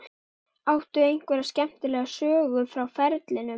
Áttu einhverja skemmtilega sögu frá ferlinum?